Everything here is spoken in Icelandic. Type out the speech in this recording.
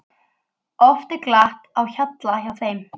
Oft er glatt á hjalla hjá þeim.